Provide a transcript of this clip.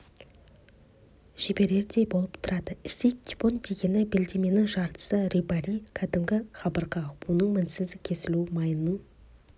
жіберердей болып тұрады стейк тибон дегені белдеменің жартысы рибайы кәдімгі қабырға оның мінсіз кесілуі майының